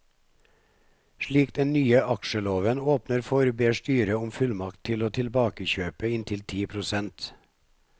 Slik den nye aksjeloven åpner for, ber styret om fullmakt til å tilbakekjøpe inntil ti prosent.